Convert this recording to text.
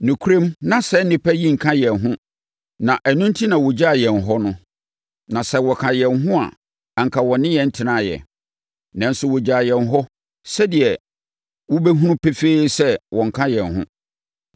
Nokorɛm, na saa nnipa yi nka yɛn ho na ɛno enti na wɔgyaa yɛn hɔ no. Na sɛ wɔka yɛn ho a, anka wɔne yɛn tenaeɛ. Nanso, wɔgyaa yɛn hɔ, sɛdeɛ wobɛhunu no pefee sɛ wɔnka yɛn ho.